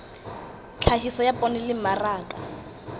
tlhahiso ya poone le mmaraka